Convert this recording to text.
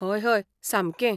हय हय, सामकें.